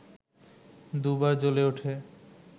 দুবার জ্বলে উঠে